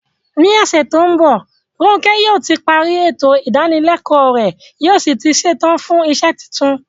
Ní ọ̀sẹ̀ tó ń bọ̀, Ronke yóò ti parí ètò ìdánilẹ́kọ̀ọ́ rẹ̀ yóò sì ti ṣetán fún iṣẹ́ tuntun.